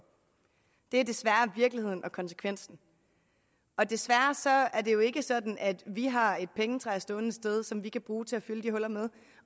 det er desværre virkeligheden og konsekvensen desværre er det jo ikke sådan at vi har et pengetræ stående et sted som vi kan bruge til at fylde de huller med